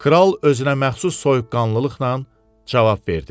Kral özünəməxsus soyuqqanlılıqla cavab verdi.